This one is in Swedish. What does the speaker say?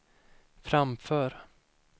framför